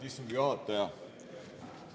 Austatud istungi juhataja!